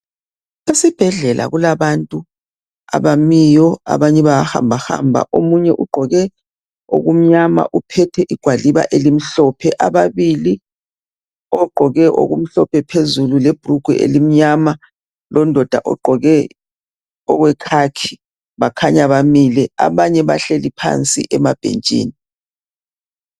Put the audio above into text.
Esibhedlela kulabantu abamiyo abanye bahambahamba omunye ugqoke okumnyama uphethe igwaliba elimhlophe ababili ogqoke okuhlophe phezulu lebrugwe elimnyama londoda ogqoke okwekhakhi bakhanya bamile abanye bahleli phansi emabhentshini.